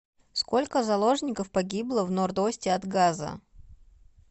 сколько заложников погибло в норд осте от газа